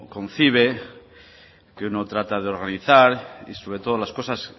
concibe que uno trata de organizar y sobre todo las cosas